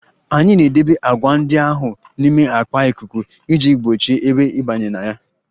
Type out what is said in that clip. Anyị na-edebe agwa ndị ahụ n'ime akpa ikuku iji gbochie ebe ịbanye na ya